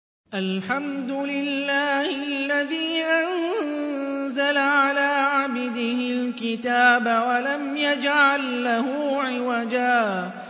الْحَمْدُ لِلَّهِ الَّذِي أَنزَلَ عَلَىٰ عَبْدِهِ الْكِتَابَ وَلَمْ يَجْعَل لَّهُ عِوَجًا ۜ